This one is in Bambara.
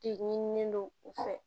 De ɲinini don u fɛ